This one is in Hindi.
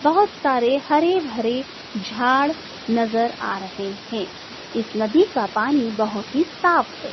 बहुत सारे हरे भरे झाड़ नजर आ रहे हैं इस नदी का पानी बहुत ही साफ है।